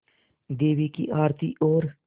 देवी की आरती और